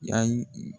Yani